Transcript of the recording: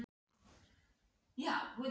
Guðrún Heimisdóttir: Á hvað löngum tíma?